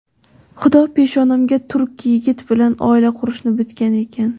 Xudo peshonamga turk yigiti bilan oila qurishni bitgan ekan.